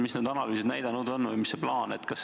Mida need analüüsid näidanud on või mis teie kava on?